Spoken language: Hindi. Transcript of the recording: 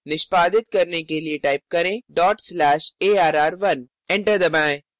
निष्पादित करने के लिए type करें dot slash arr1 enter दबाएँ